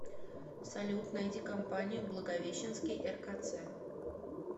салют найди компанию благовещенский ркц